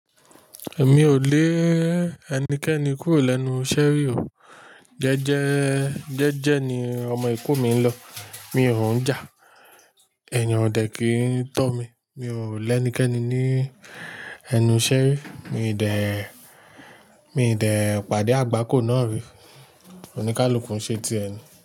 Èmi ò lé ẹnikẹni kúrò lẹ́nu iṣẹ́rí o, jẹ́jẹ́, jẹ́jẹ́ ni ọmọ ìkún mi ń lọ. Mi ò ń jà. Ẹeyan ọ̀dẹ̀ kì í tọ́ mi. Mi ò lẹ́nikẹni ní ẹnu ṣẹ́rí. Mi ò dẹ̀, mi ò dẹ̀ pàdé àgbákò náà rí. Ó ní ká lukun ṣé ti ẹni.